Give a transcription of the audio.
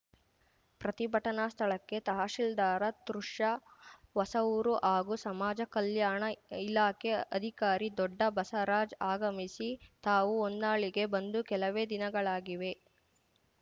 ಪ್ರತಿಭಟನಾ ಸ್ಥಳಕ್ಕೆ ತಹಶೀಲ್ದಾರ್‌ ತುರ್ಷಾ ಹೊಸಊರು ಹಾಗೂ ಸಮಾಜ ಕಲ್ಯಾಣ ಇಲಾಖೆ ಅಧಿಕಾರಿ ದೊಡ್ಡ ಬಸರಾಜ್‌ ಅಗಮಿಸಿ ತಾವು ಹೊನ್ನಾಳಿಗೆ ಬಂದು ಕೆಲವೇ ದಿನಗಳಾಗಿವೆ